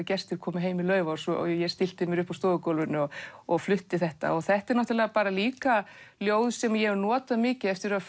gestir komu heim í Laufás og ég stillti mér upp á stofugólfinu og og flutti þetta þetta eru líka ljóð sem ég hef notað mikið eftir að